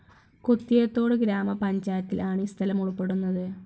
കുത്തിയത്തോട്ഗ്രാമപഞ്ചായത്തിൽ ആണ് ഈ സ്ഥലം ഉൾപ്പെടുന്നത്.